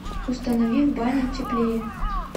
установи в бане теплее